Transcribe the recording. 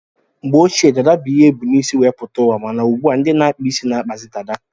Mgbe ochie dada bu ihe ebu n' isi wee pụta uwa, mana ugbua ndị na-akpa isi na-akpazi dada.